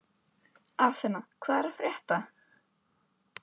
Athena, hvað er að frétta?